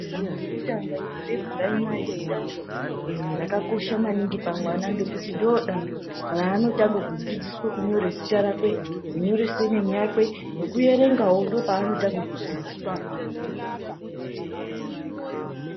Danho rekutanga repuraimari idanho rakakosha maningi pamwana ngekuti ndoodanho raanotanga kudzidziswa kunyore zita rakwe nekunyore senemu yakwe, nekuerengawo ndoopanotanga kudzidziswa apapo.